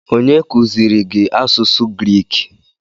Onye kuziiri gị asụsụ Griik?